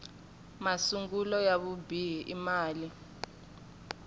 masungulo ya vubihi i mali